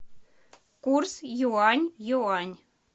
курс юань юань